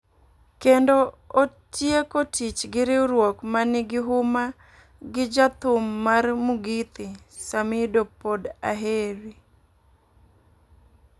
Kendo otieko tich gi riwruok ma nigi huma gi ja thum mar Mugithi, Simidoh-Pod Aheri